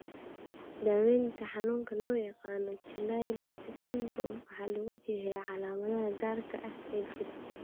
Daawaynta xanuunka loo yaqaan 'Chilaiditi syndrome' waxaa lagu jiheeyaa calaamadaha gaarka ah ee jira.